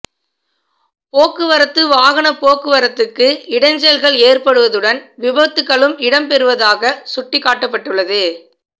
போக்குவரத்துக்கு வாகனப் போக்குவரத்துக்கு இடைஞ்சல்கள் ஏற்படுவதுடன் விபத்துக்களும் இடம்பெறுவதாக சுட்டிக்காட்டப்பட்டுள்ளது